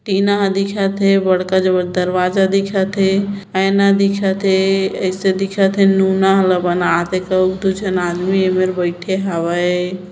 टीना हा दिखत हेबड़का जबर दरवाजा दिखत हे आईना दिखत हे ऐसा दिखत हे नूना ह ला बना के दुझन आदमी एमेर बैठे हावे ।